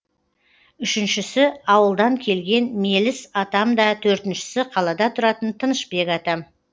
үшіншісі ауылдан келген меліс атам да төртіншісі қалада тұратын тынышбек атам